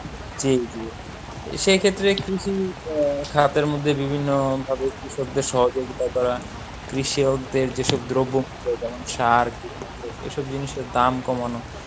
জী জী সেক্ষেত্রে কৃষি আহ খাতের মধ্যে বিভিন্ন ভাবে কৃষকদের সহযোগিতা করা কৃষকদের যেসব দ্রব্যমূল্য যেমন সার কীটনাশক এসব জিনিসের দাম কমানো